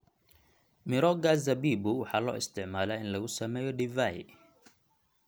Mirooga zabibu waxaa loo isticmaalaa in lagu sameeyo divai.